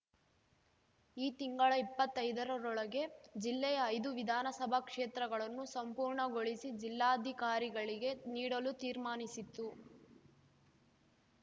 ಈ ತಿಂಗಳ ಇಪ್ಪತ್ತೈದರೊಳಗೆ ಜಿಲ್ಲೆಯ ಐದು ವಿಧಾನಸಭಾ ಕ್ಷೇತ್ರಗಳನ್ನೂ ಸಂಪೂರ್ಣಗೊಳಿಸಿ ಜಿಲ್ಲಾಧಿಕಾರಿಗಳಿಗೆ ನೀಡಲು ತೀರ್ಮಾನಿಸಿತು